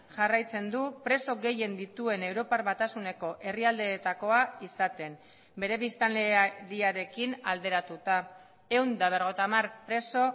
jarraitzen du preso gehien dituen europar batasuneko herrialdeetakoa izaten bere biztanleriarekin alderatuta ehun eta berrogeita hamar preso